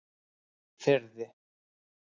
Firði